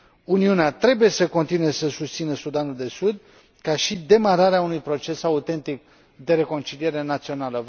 Uniunea trebuie să continue să susțină Sudanul de Sud, ca și demararea unui proces autentic de reconciliere națională.